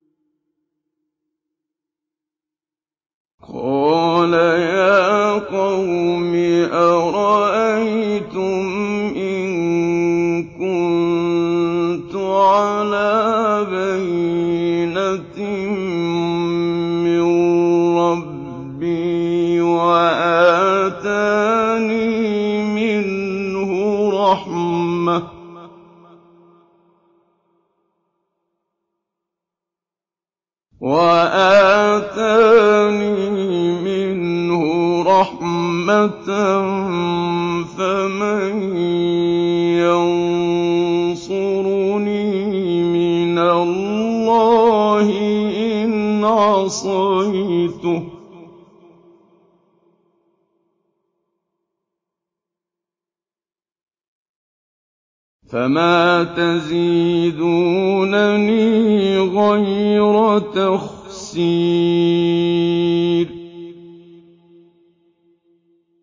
قَالَ يَا قَوْمِ أَرَأَيْتُمْ إِن كُنتُ عَلَىٰ بَيِّنَةٍ مِّن رَّبِّي وَآتَانِي مِنْهُ رَحْمَةً فَمَن يَنصُرُنِي مِنَ اللَّهِ إِنْ عَصَيْتُهُ ۖ فَمَا تَزِيدُونَنِي غَيْرَ تَخْسِيرٍ